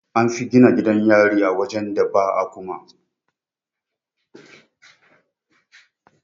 An fi gina gidan yari a wajen da ba akumma.